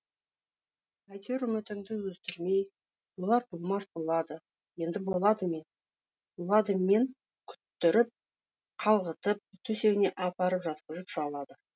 әйтеуір үмітіңді үздірмей болар болмас болады енді болады мен күттіріп қалғытып төсегіне апарып жатқызып салады